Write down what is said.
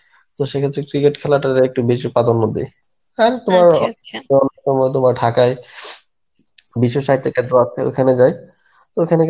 তো সেক্ষেত্রে cricket খেলাটা একটু বেশি প্রাধান্য দিই. আর তোমার ঢাকায় বিশ্ব সাহিত্য ওইখানে যাই, ওইখানে গেলে